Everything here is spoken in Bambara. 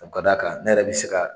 O ka d'a kan ne yɛrɛ bɛ se ka